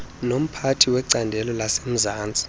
nomphathi wecandelo lasemzantsi